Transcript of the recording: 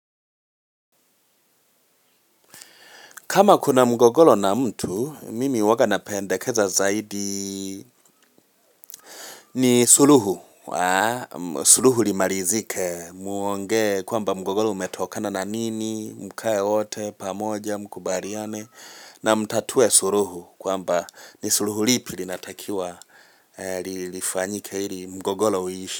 Kama kuna mgogoro na mtu, mimi huwa napendekeza zaidi ni suluhu. Suluhu imalizike muongee kwamba mgogoro umetokana na nini, mkae wote, pamoja, mkubaliane, na mtatue suluhu kwamba ni suluhu ipi inatakiwa, ifanyike ili mgogoro uishe.